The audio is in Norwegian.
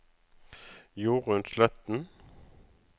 Jorun Sletten